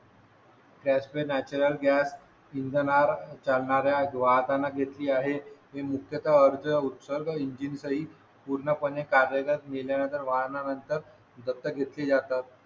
त्यात ते natural gas इंधनावर चालणाऱ्या ग्राहकांना घेतली आहे ते मुख्यता अर्ज उत्सर्ग इंजिन चा ही पूर्णपणे कार्यरत केल्यानंतर वाहनानंतर दत्तक घेतली जातात